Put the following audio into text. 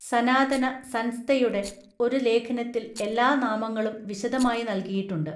സനാതന സൻസ്തയുടെ ഒരു ലേഖനത്തിൽ എല്ലാ നാമങ്ങളും വിശദമായി നൽകിയിട്ടുണ്ട്.